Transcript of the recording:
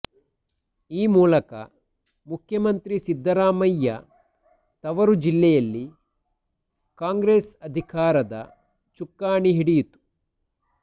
ಈ ಮೂಲಕ ಮುಖ್ಯಮಂತ್ರಿ ಸಿದ್ದರಾಮಯ್ಯ ತವರು ಜಿಲ್ಲೆಯಲ್ಲಿ ಕಾಂಗ್ರೆಸ್ ಅಧಿಕಾರದ ಚುಕ್ಕಾಣಿ ಹಿಡಿಯಿತು